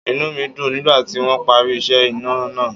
Inú mi dùn nígbà tí wọ́n parí iṣẹ́ iná náà.